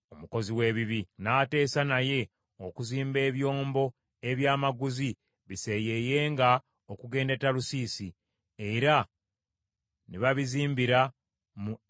N’ateesa naye okuzimba ebyombo ebyamaguzi biseeyeeyenga okugenda e Talusiisi, era ne babizimbira mu Eziyonigeba.